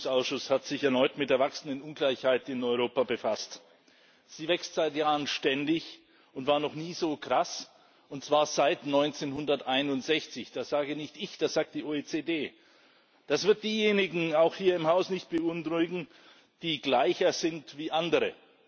Der Beschäftigungsausschuss hat sich erneut mit der wachsenden Ungleichheit in Europa befasst. Sie wächst seit Jahren ständig und war noch nie so krass und zwar seit 1961. Das sage nicht ich, das sagt die OECD. Das wird diejenigen auch hier im Haus nicht beunruhigen, die gleicher sind als andere.